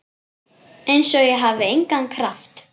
Einsog ég hafi engan kraft.